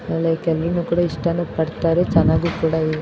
ನಾಳೆ ಕೆಲ್ವಿನ್ಇಷ್ಟಾನು ಪಡುತ್ತಾರೆ ಚೆನ್ನಾಗೂ ಕೂಡ ಇದೆ.